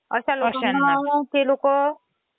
आपण त्याच्यामध्ये फॉन्ट पण देऊ शकतो